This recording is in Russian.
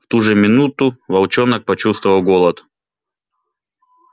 в ту же минуту волчонок почувствовал голод